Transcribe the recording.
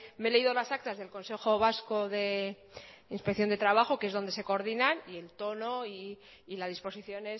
me he leído las actas del consejo vasco de inspección de trabajo que es donde se coordinan y el tono y la disposición